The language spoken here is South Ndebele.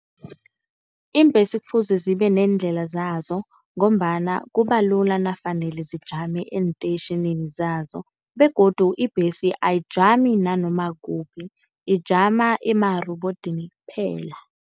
Iimbhesi kufuze zibe neendlela zazo, ngombana kubalula nakufanele zijame eentetjhinini zazo begodu ibhesi ayijami nanoma kukuphi ijama emarobodini kuphela.